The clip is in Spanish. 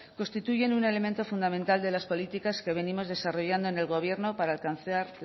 constituyen un elemento fundamental de las políticas que venimos desarrollando en el gobierno para alcanzar